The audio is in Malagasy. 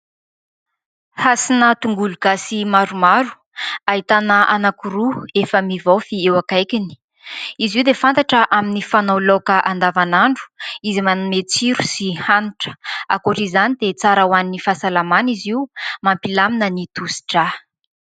Hasina tongolo gasy maromaro, ahitana anankiroa efa mivaofy eo akaikiny. Izy io dia fantatra amin'ny fanao laoka andavanandro izay manome tsiro sy hanitra. Ankoatra izany, dia tsara ho an'ny fahasalamana izy io, mampilamina ny tosi-dra.